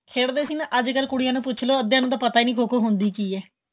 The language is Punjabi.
ਖੇਡਦੇ ਸੀ ਨਾ ਅੱਜ ਕੱਲ ਕੁੜੀਆਂ ਨੂੰ ਪੁਛ ਲਵੋ ਅੱਧਿਆਂ ਨੂੰ ਤਾਂ ਪਤਾ ਨਹੀਂ ਖ਼ੋ ਖ਼ੋ ਹੁੰਦੀ ਕੀ ਏਹ